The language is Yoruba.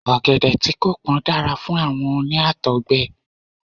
Ọ̀gẹ̀dẹ̀ tí kò pón dára fún àwọn oní Àtọ̀gbẹ.